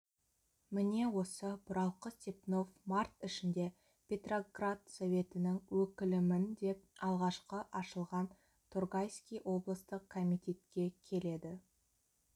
міне осы бұралқы степнов март ішінде петроград советінің өкілімін деп алғашқы ашылған торгайский облыстық комитетке келеді